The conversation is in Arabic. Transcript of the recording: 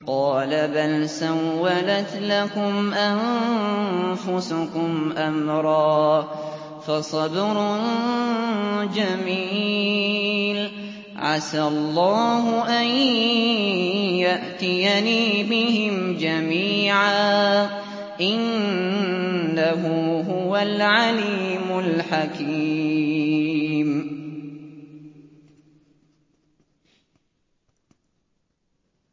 قَالَ بَلْ سَوَّلَتْ لَكُمْ أَنفُسُكُمْ أَمْرًا ۖ فَصَبْرٌ جَمِيلٌ ۖ عَسَى اللَّهُ أَن يَأْتِيَنِي بِهِمْ جَمِيعًا ۚ إِنَّهُ هُوَ الْعَلِيمُ الْحَكِيمُ